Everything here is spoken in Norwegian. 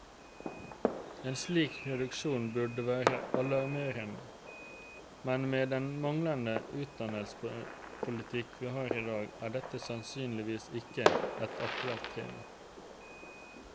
En slik reduksjon burde være alarmerende, men med den manglende utdannelsespolitikk vi har i dag, er dette tydeligvis ikke et aktuelt tema.